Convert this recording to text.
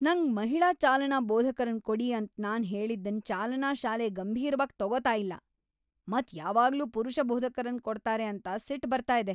ನಂಗ್ ಮಹಿಳಾ ಚಾಲನಾ ಬೋಧಕರನ್ ಕೊಡಿ ಅಂತ್ ನಾನ್ ಹೇಳಿದನ್ ಚಾಲನಾ ಶಾಲೆ ಗಂಭೀರವಾಗಿ ತಗೋತಾ ಇಲ್ಲ ಮತ್ ಯಾವಾಗ್ಲೂ ಪುರುಷ ಬೋಧಕರನ್ ಕೊಡ್ತಾರೆ ಅಂತ ಸಿಟ್ ಬರ್ತಾ ಇದೆ.